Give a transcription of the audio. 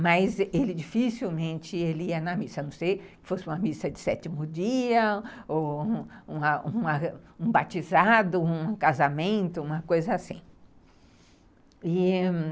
Mas ele dificilmente ia na missa, a não ser que fosse uma missa de sétimo dia, ou um um um batizado, um casamento, uma coisa assim. E...